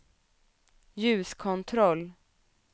ljuskontroll